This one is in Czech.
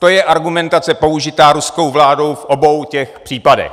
To je argumentace použitá ruskou vládou v obou těch případech.